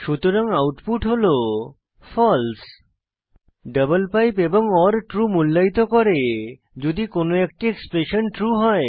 সুতরাং আউটপুট হল false double pipe এবং ওর ট্রু মূল্যায়িত করে যদি কোনো একটি এক্সপ্রেশন ট্রু হয়